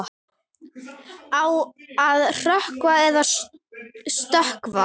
Á að hrökkva eða stökkva?